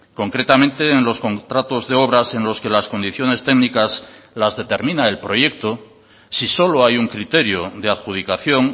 concretamente en los contratos de obras en los que las condiciones técnicas las determina el proyecto si solo hay un criterio de adjudicación